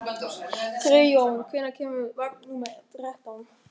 Friðjón, hvenær kemur vagn númer þrettán?